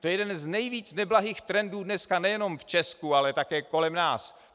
To je jeden z nejvíc neblahých trendů dneska nejenom v Česku, ale také kolem nás.